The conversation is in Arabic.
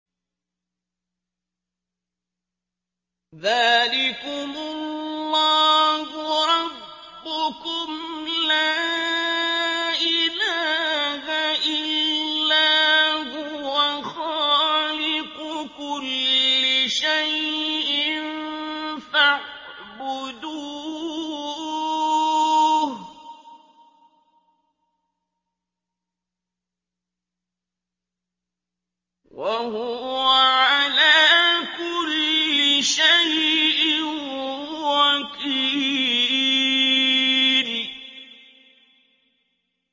ذَٰلِكُمُ اللَّهُ رَبُّكُمْ ۖ لَا إِلَٰهَ إِلَّا هُوَ ۖ خَالِقُ كُلِّ شَيْءٍ فَاعْبُدُوهُ ۚ وَهُوَ عَلَىٰ كُلِّ شَيْءٍ وَكِيلٌ